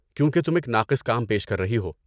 کیونکہ تم ایک ناقص کام پیش کر رہی ہو۔